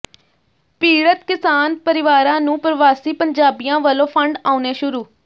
ਪੀੜਤ ਕਿਸਾਨ ਪਰਿਵਾਰਾਂ ਨੂੰ ਪ੍ਰਵਾਸੀ ਪੰਜਾਬੀਆਂ ਵੱਲੋਂ ਫ਼ੰਡ ਆਉਣੇ ਸ਼ੁਰੂ